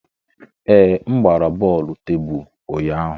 Ee, m gbara bọọlụ tebụl ụnyaahụ.